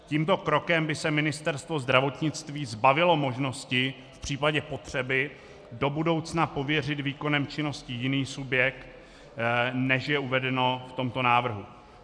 Tímto krokem by se Ministerstvo zdravotnictví zbavilo možnosti v případě potřeby do budoucna pověřit výkonem činnosti jiný subjekt, než je uvedeno v tomto návrhu.